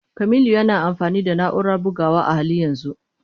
Kamilu yana amfani da na'urar bugawa a halin yanzu.